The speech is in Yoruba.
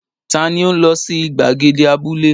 Ta ni ó ń lọ sí ìgbàgede abúlé?